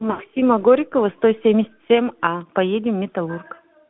максима горького сто семьдесят семь а поедем металлург